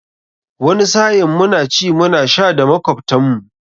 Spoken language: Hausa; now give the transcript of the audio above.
Wani sa'in muna ci muna sha da makwabtan mu.